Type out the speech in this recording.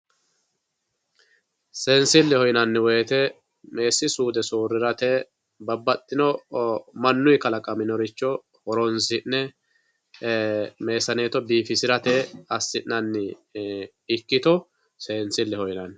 seensilleho yinanniwoyeete meessi suude soorirate babbaxino manuyii kalaqaminoricho horonsi'ne meesaneeto biifisirate assi'nanni ikkito seensileho yinanni.